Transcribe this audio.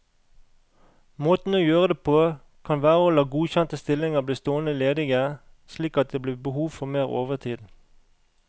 Måten å gjøre det på, kan være å la godkjente stillinger bli stående ledige, slik at det blir behov for mer overtid.